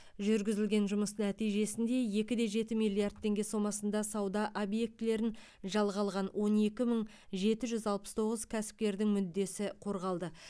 жүргізілген жұмыс нәтижесінде екіде жеті миллиард теңге сомасына сауда объектілерін жалға алған он екі мың жеті жүз алпыс тоғыз кәсіпкердің мүддесі қорғалды